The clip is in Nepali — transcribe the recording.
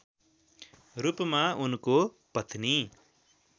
रूपमा उनको पत्नी